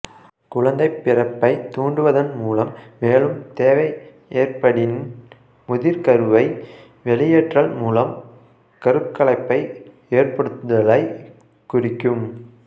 குழந்தைப் பிறப்பைத் தூண்டுவதன் மூலம் மேலும் தேவை ஏற்படின் முதிர்கருவை வெளியேற்றல் மூலம் கருக்கலைப்பை ஏற்படுத்தலைக் குறிக்கும்